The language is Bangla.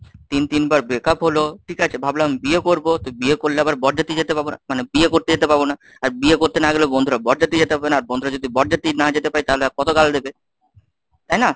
তিন তিনবার breakup হল, ঠিক আছে ভাবলাম বিয়ে করবো তো বিয়ে করলে আবার বরযাত্রী যেতে পাবো না, মানে বিয়ে করতে যেতে পারব না, আর বিয়ে করতে না গেলেও বন্ধুরা বরযাত্রী যেতে পারবে না আর বন্ধুরা যদি বরযাত্রী না যেতে পারে তাহলে আর দেবে তাই না?